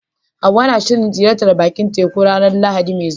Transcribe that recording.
Hawwa na shirin ziyartar bakin teku a ranar Lahadi mai zuwa.